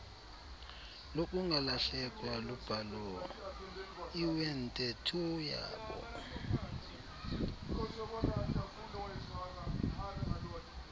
lokungalahlekwa lubhalo iwenteethoyabo